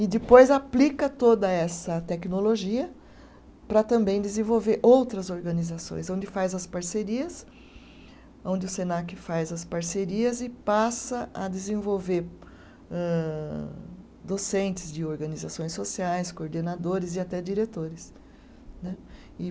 E depois aplica toda essa tecnologia para também desenvolver outras organizações, onde faz as parcerias, onde o Senac faz as parcerias e passa a desenvolver âh, docentes de organizações sociais, coordenadores e até diretores né. E